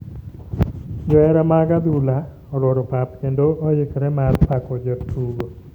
Johera mag adhula oluora pap kendo oikre mar pako jotugo.